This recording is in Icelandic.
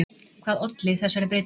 Hvað olli þessari breytingu?